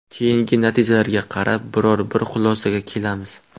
Keyingi natijalarga qarab biror-bir xulosaga kelamiz.